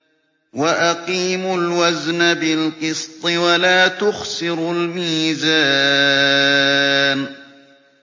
وَأَقِيمُوا الْوَزْنَ بِالْقِسْطِ وَلَا تُخْسِرُوا الْمِيزَانَ